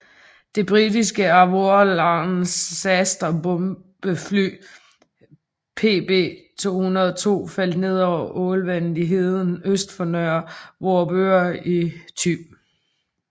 Det britiske Avro Lancaster bombefly PB202 faldt ned ved Ålvand i heden øst for Nørre Vorupør i Thy